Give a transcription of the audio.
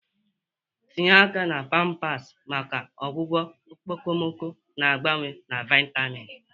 Tinye aka na pawpaws maka ọgwụgwọ okpomọkụ na-agbawa na vitamin.